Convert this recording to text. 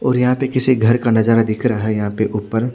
और यह पे किसी घर का नज़ारा दिख रहा है यह पे उपर--